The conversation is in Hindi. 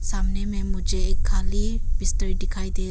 सामने में मुझे एक खाली बिस्तर दिखाई दे रही--